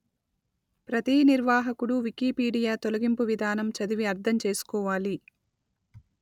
ప్రతీ నిర్వాహకుడు వికీపీడియా తొలగింపు విధానం చదివి అర్థం చేసుకోవాలి